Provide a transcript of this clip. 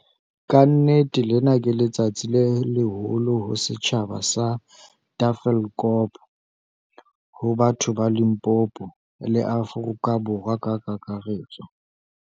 "Ka nnete lena ke letsatsi le leholo ho setjhaba sa Ta-felkop, ho batho ba Limpopo, le Afrika Borwa ka kakaretso."